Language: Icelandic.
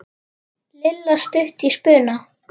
Lilla stutt í spuna.